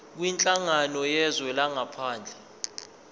kwinhlangano yezwe langaphandle